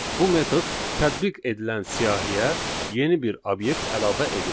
Bu metod tətbiq edilən siyahıya yeni bir obyekt əlavə edir.